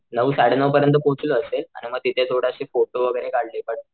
नऊ साडे नऊ परियंत पोहोचलो असेल आणि मग तिथे थोडे अशे फोटो वैगेरे काढले बट ,